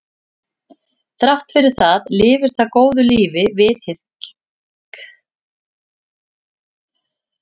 þrátt fyrir það lifir það góðu lífi við hlið græðlinga